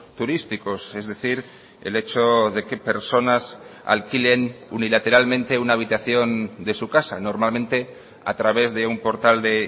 turísticos es decir el hecho de que personas alquilen unilateralmente una habitación de su casa normalmente a través de un portal de